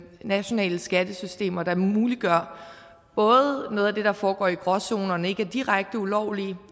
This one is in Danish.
nationale skattesystemer der muliggør både noget af det der foregår i gråzonerne og ikke er direkte ulovligt